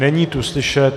Není tu slyšet.